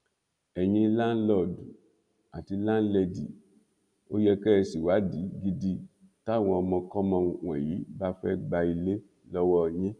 ẹyin láǹlọọdù àti láńlẹdì ò yẹ kẹ ẹ ṣèwádìí gidi táwọn ọmọkọmọ wọnyí bá fẹẹ gba ilé lọwọ yín